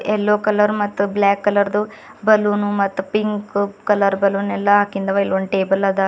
Yellow colour ಮತ್ತು black colour ದು balloon ಮತ್ತ ಪಿಂಕ್ ಕಲರ್ ಬಲೂನ್ ಎಲ್ಲಾ ಹಾಕಿಂದ ಆವಾ ಇಲ್ಲಿ ಒಂದ ಟೇಬಲ್ ಅದ.